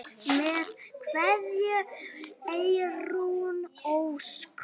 Með kveðju, Eyrún Ósk.